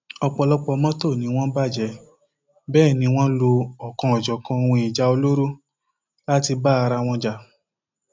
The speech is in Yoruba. ọpọlọpọ mọtò ni wọn bàjẹ bẹẹ ni wọn ń lo ọkanòjọkan ohun ìjà olóró láti bá ara wọn jà